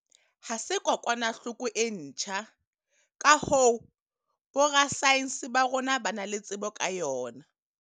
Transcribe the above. Ha se kokwanahloko e ntjha, ka hoo, borasaense ba rona ba na le tsebo ka yona.